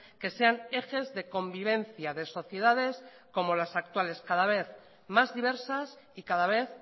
que sean ejes de convivencia de sociedades como las actuales cada vez más diversas y cada vez